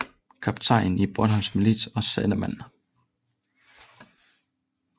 Kaptajn i Bornholms milits og sandemand